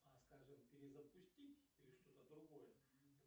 а скажем перезапустить или что то другое